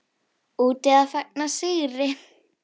Úti að fagna sigri.